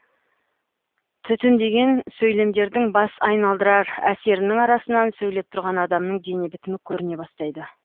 түтіндеген сөйлемдердің бас айналдырар әсерінің арасынан сөйлеп тұрған адамның дене бітімі көріне бастайды